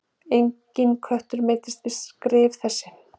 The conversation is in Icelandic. Enginn köttur meiddist við skrif þessi.